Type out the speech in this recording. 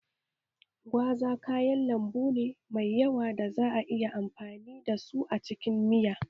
Gwaza kayan lambu ne mai yawa da za a iya amfani da su a cikin miya